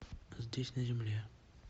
здесь на земле